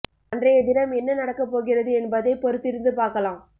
அன்றைய தினம் என்ன நடக்கப்போகிறது என்பதை பொறுத்திருந்து பார்க்கலாம்